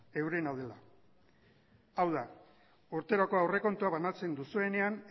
eurena dela hau da urteroko aurrekontua banatzen duzuenean